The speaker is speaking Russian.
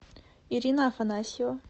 ирина афанасьева